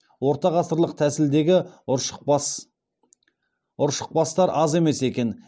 ортағасырлық тәсілдегі ұршықбастар аз емес екен